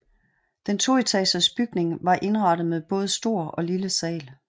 Den toetagers bygning var indrettet med både stor og lille sal